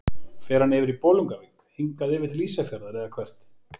Fer hann yfir í Bolungarvík, hingað yfir til Ísafjarðar eða hvert?